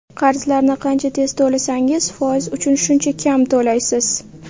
Qarzlarni qancha tez to‘lasangiz, foiz uchun shuncha kam to‘laysiz.